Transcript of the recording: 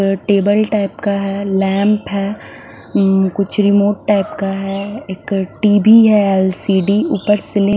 table type का है lamp है अ कुछ रिमोट टाइप का है एक टी_ वी है एल_ सी_ डी_ ऊपर सिले--